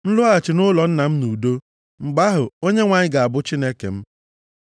m lọghachi nʼụlọ nna m nʼudo, mgbe ahụ, Onyenwe anyị ga-abụ Chineke m.